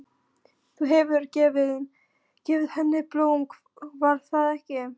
Þú hefur gefið henni blóm, var það ekki?